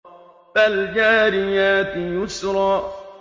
فَالْجَارِيَاتِ يُسْرًا